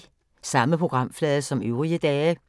Samme programflade som øvrige dage